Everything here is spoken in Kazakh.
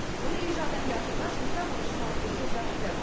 оны үй жағдайында ата аналар жұмсақ ойыншық алып берсе жақсы